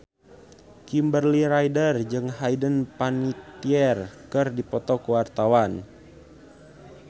Kimberly Ryder jeung Hayden Panettiere keur dipoto ku wartawan